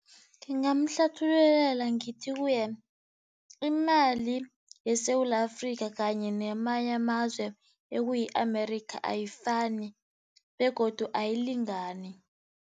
Ngingamhlathululela ngithi kuye, imali yeSewula Afrika kanye namanye amazwe ekuyi-America ayifani begodu ayilingani.